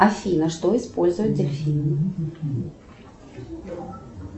афина что используют дельфины